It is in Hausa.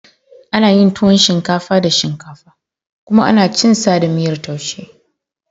Ana yin tuwon shinkafa da shinkafa kuma ana cin sa da miyar taushe.